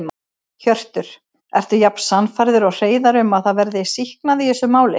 Hjörtur: Ertu jafn sannfærður og Hreiðar um að það verði sýknað í þessu máli?